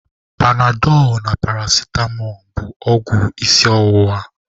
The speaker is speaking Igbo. Panadọlụ na paracitamọ bụ ọgwụ isi ọwụwa.